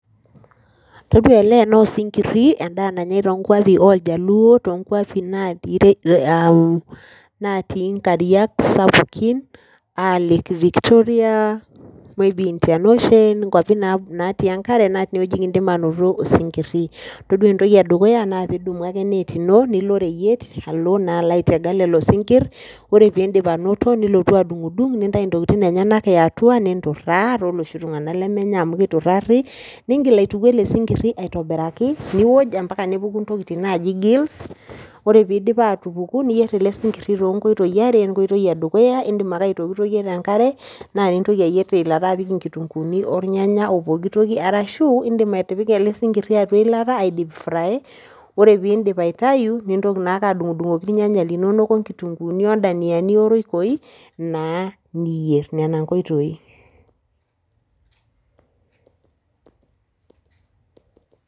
Todua ele naa osinkirri endaa nanyaai toonkuapi oljaluo toonkuapi naatii nkariak sapukin enaa lake Victoria maybe Indian Ocean nkuapi naatii enkare naa tine kindim aanoto osinkirri todua entoki edukuya naa pee idumu akee enet ino nilo oreyiet alo naa alo aitega lelo sinkirr, ore pee indip anoto nilotu adung'udung nintayu ntokitin enyenak e atua ninturraa tooloshi tung'anak lemenya amu kiturrari niingil aituku ele sinkirri esidai aitoniraki nioj, mpaka nepuku ntokitin naaji gills ore pee iidip aatupuku niyierr ele sinkirri toonkoitoi are enkoitoi edukuya indim ake aitokitokie te enkare naa nintoki ayierr nipik nkitunguuni olnyanya o pooki toki arashu iindim atipika ele sinkirri atua eilata ai dip fry ore pee iindip aitayu nintoki naake adung'udung'oki ilnyanya linonok onkitunguuni ondaniani oroikoi naa niyierr, nena nkoitoi.